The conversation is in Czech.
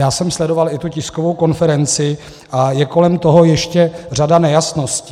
Já jsem sledoval i tu tiskovou konferenci a je kolem toho ještě řada nejasností.